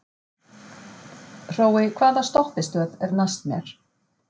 Hrói, hvaða stoppistöð er næst mér?